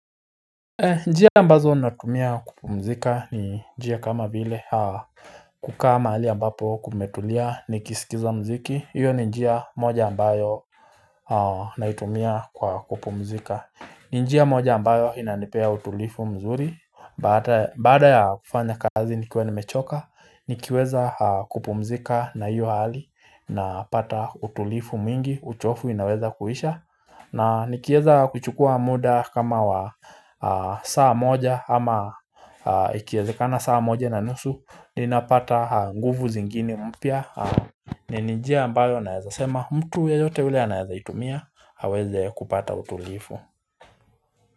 Njia ambazo natumia kupumzika ni njia kama vile kukaa mahali ambapo kumetulia nikisikiza mziki hiyo ni njia moja ambayo naitumia kwa kupumzika ni njia moja ambayo inanipea utulivu mzuri baada ya kufanya kazi nikiwa nimechoka nikiweza kupumzika na hiyo hali napata utulivu mwingi uchofu inaweza kuisha na nikieza kuchukua muda kama wa saa moja ama ikiezekana saa moja na nusu ninapata nguvu zingine mpya ni njia ambayo naeza sema mtu yeyote ule anaezaitumia aweze kupata utulivu.